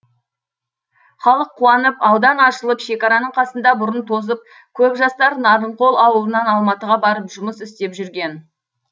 халық қуанып аудан ашылып шекараның қасында бұрын тозып көп жастар нарынқол ауылынан алматыға барып жұмыс істеп жүрген